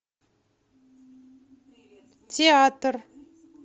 театр